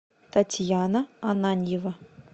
татьяна ананьева